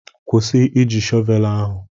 Kwụsị Ị ji shọvelu ahụ!